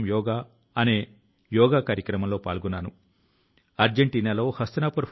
జీవితాంతం ఏదో ఒక ప్రదేశానికి వెళ్లాలని చాలా మంది కలలు కంటూ ఉంటారు